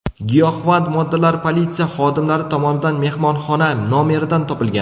Giyohvand moddalar politsiya xodimlari tomonidan mehmonxona nomeridan topilgan.